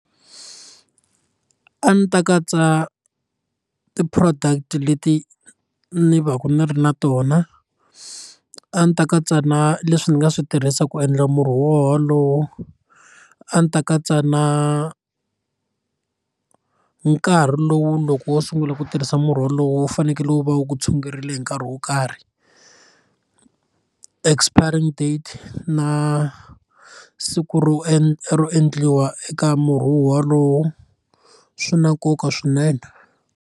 A ndzi ta katsa ti product leti ni va ka ni ri na tona a ndzi ta katsa na leswi ndzi nga swi tirhisaka ku endla murhi wolowo a ndzi ta katsa na nkarhi lowu loko wo sungula ku tirhisa murhi wolowo wu fanekele wu va wu ku tshungurile hi nkarhi wo karhi expiring date na siku ro ro endliwa eka murhi wolowo swi na nkoka swinene.